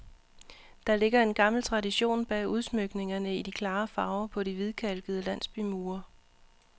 Der ligger en gammel tradition bag udsmykningerne i de klare farver på de hvidkalkede landsbymure.